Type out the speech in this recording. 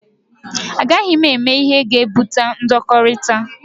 A gaghị m eme ihe ga-ebute ndọkọrita.